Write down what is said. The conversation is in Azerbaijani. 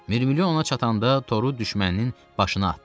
Mirmilyon ona çatanda toru düşməninin başına atdı.